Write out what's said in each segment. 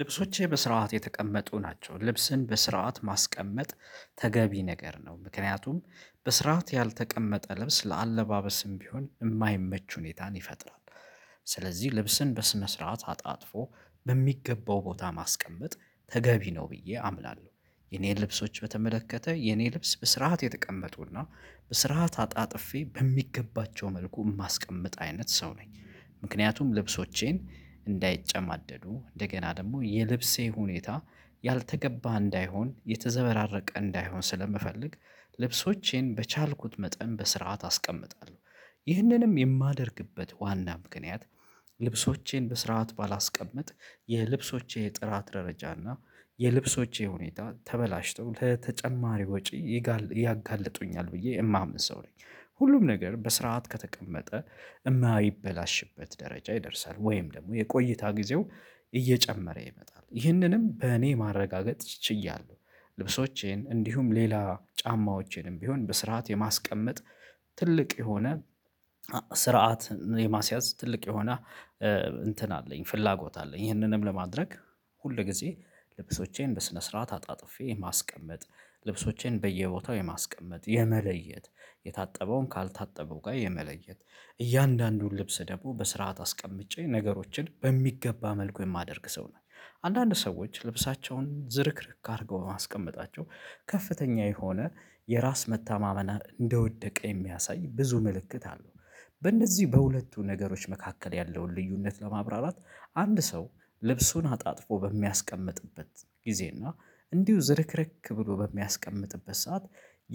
ልብሶቼ በስርዓት የተቀመጡ ናቸው። ልብስን በስርዓት ማስቀመጥ ተገቢ ነገር ነው። ምክንያቱም በስርዓት ያልተቀመጠ ልብስ ለአለባበስም ቢሆን እማይመች ሁኔታን ይፈጥራል። ስለዚህ ልብስን በስነ ስርዓት አጣጥፎ በሚገባው ቦታ ማስቀመጥ ተገቢ ነው ብዬ አምናለሁ። የኔን ልብሶች በተመለከተ የኔ ልብስ በስርዓት የተቀመጡና በስርዓት አጣጥፌ በሚገባቸው መልኩ እማስቀምጥ አይነት ሰው ነኝ። ምክንያቱም ልብሶቼን እንዳይጨማደዱ እንደገና ደግሞ የልብሴ ሁኔታ ያልተገባ እንዳይሆን የተዘበራረቀ እንዳይሆን ስለምፈልግ ልብሶቼን በቻልኩት መጠን በስርዓት አስቀምጣለሁ። ይህንንም የማደርግበት ዋና ምክንያት። ልብሶቼን በስርዓት ባላስቀምጥ የልብሶቼ ጥራት ደረጃ እና የልብሶቼ ሁኔታ ተበላሽቶ ለተጨማሪ ወጪ ያጋልጡኛል ብዬ የማምን ሰው ነኝ። ሁሉም ነገር በስርዓት ከተቀመጠ እማይበላሽበት ደረጃ ይደርሳል ወይም ደግሞ የቆይታ ጊዜው እየጨመረ ይመጣል ይህንንም በእኔ ማረጋገጥ ችያለሁ። ልብሶቼን እንዲሁም ሌላ ጫማዎቼንም ቢሆን በስርዓት የማስቀመጥ ትልቅ የሆነ ስርዓት የማስያዝ ትልቅ የሆነ እንትን አለኝ ፍላጎት አለኝ። ይህንንም ለማድረግ ሁል ጊዜ ልብሶቼን በስነ ስርዓት አጣጥፌ ማስቀመጥ ልብሶቼን በየቦታው የማስቀመጥ የመለየት የታጠበውን ካልታጠበው ጋር የመለየት እያንዳንዱን ልብስ ደግሞ በስርዓት አስቀምጬ ነገሮችን በሚገባ መልኩ የማደርግ ሰው ነኘ። አንዳንድ ሰዎች ልብሳቸውን ዝርክርክ አድርገው ማስቀመጣቸው ከፍተኛ የሆነ የራስ መታማመን እንደወደቀ የሚያሳይ ብዙ ምልክት አለው። በእነዚህ በሁለቱ ነገሮች መካከል ያለውን ልዩነት ለማብራራት አንድ ሰው ልብሱን አጣጥፎ በሚያስቀምጥበት ጊዜና እንዲሁ ዝርክርክ ብሎ በሚያስቀምጥበት ሰዓት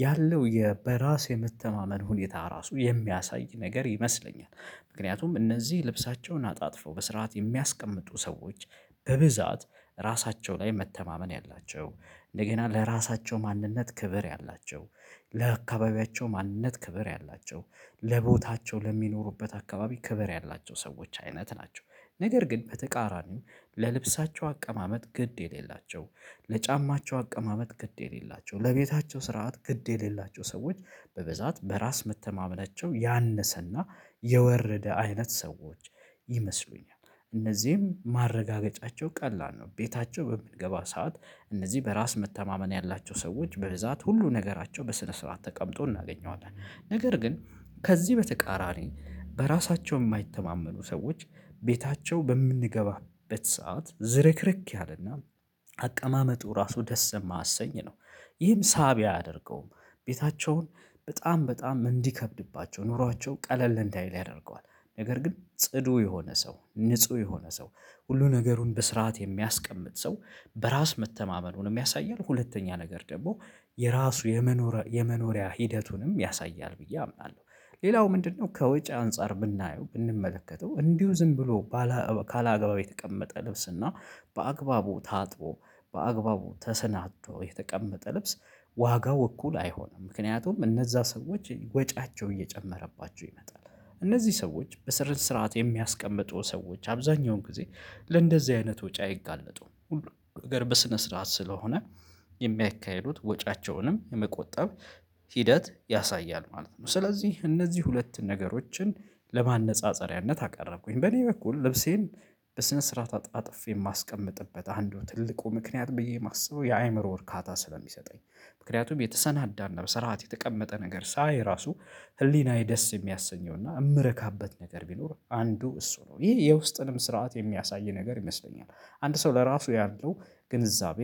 ያለው የበራስ የምተማመን ሁኔታ ራሱ የሚያሳይ ነገር ይመስለኛል። ምክንያቱም እነዚህ ልብሳቸውን አጣጥፈው በስርዓት የሚያስቀምጡ ሰዎች በብዛት ራሳቸው ላይ መተማመን ያላቸው እንደገና ለራሳቸው ማንነት ክብር ያላቸው ለአካባቢያቸው ማንነት ክብር ያላቸው ለቦታቸው ለሚኖሩበት አካባቢ ክብር ያላቸው ሰዎች አይነት ናቸው። ነገር ግን በተቃራኒው ለልብሳቸው አቀማመጥ ግድ የሌላቸው ለጫማቸው አቀማመጥ ግድ የሌላቸው ለቤታቸው ስርዓት ግድ የሌላቸው ሰዎች በብዛት በራስ መተማመናቸው ያነሰና የወረደ አይነት ሰዎች ይመስሉኛል። እነዚህም ማረጋገጫቸው ቀላል ነው። ቤታቸው በምንገባው ሰዓት እነዚህ በራስ መተማመን ያላቸው ሰዎች በብዛት ሁሉ ነገራቸው በስነ ስርዓት ተቀምጦ እናገኘዋለን። ነገር ግን ከዚህ በተቃራኒ በራሳቸው እማይተማመኑ ሰዎች ቤታቸው በምንገባበት ሰዓት ዝርክርክ ያለና አቀማመጡ ራሱ ደስ እማያሰኝ ነው። ይህም ሳቢ አያደርገውም። ቤታቸውን በጣም በጣም እንዲከብድባቸው ኑሯቸው ቀለል እንዳይል ያደርገዋል። ነገር ግን ጽዱ የሆነ ሰው ንጹህ የሆነ ሰው ሁሉ ነገሩን በስርዓት የሚያስቀምጥ ሰው በራስ መተማመኑን ያሳያል። ሁለተኛ ነገር ደግሞ የራሱ የመኖሪያ ሂደቱንም ያሳያል ብዬ አምናለሁ። ሌላው ምንድነው? ከውጭ አንፃር ብናየው ብንመለከተው እንዲሁ ዝም ብሎ ካለአግባቡ የተቀመጠ ልብስ እና በአግባቡ ታጥቦ በአግባቡ ተሰናዶ የተቀመጠ ልብስ ዋጋው እኩል አይሆንም ምክንያቱም እነዛ ሰዎች ወጪያቸው እየጨመረባቸው ይመጣል። እነዚህ ሰዎች በስር ስርዓት የሚያስቀምጡ ሰዎች አብዛኛውን ጊዜ ለእንደዚህ አይነት ወጪ አይጋለጡም ሁሉ ነገር በስነ ስርዓት ስለሆነ የሚያካሂዱት ወጫቸውንም የመቆጠብ ሂደት ያሳያል ማለት ነው። ስለዚህ እነዚህ ሁለት ነገሮችን ለማነፃፀሪያነት አቀረብኩኝ። በእኔ በኩል ልብሴን በስነ ስርዓት አጥፌ የማስቀምጥበት አንዱ ትልቁ ምክንያት ብዬ የማስበው የአይምሮ እርካታ ስለሚሰጠኝ። ምክንያቱም የተሰናዳና በስርዓት የተቀመጠ ነገር ሳይ ራሱ ህሊናዬ ደስ የሚያሰኘውና እምረካበት ነገር ቢኖር አንዱ እሱ ነው። ይህ የውስጥንም ስርዓት የሚያሳይ ነገር ይመስለኛል። አንድ ሰው ለራሱ ያለው ግንዛቤ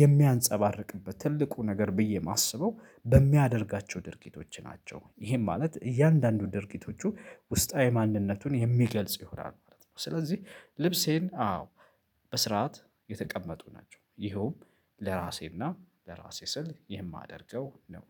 የሚያንፀባርቅበት ትልቁ ነገር ብዬ እማስበው በሚያደርጋቸው ድርጊቶች ናቸው። ይሄም ማለት እያንዳንዱ ድርጊቶቹ ውስጣዊ ማንነቱን የሚገልጽ ይሆናል ማለት ነው። ስለዚህ ልብሴን አዎ በስርዓት የተቀመጡ ናቸው። ይኸውም ለራሴና ለራሴ ስል የማደርገው ነው።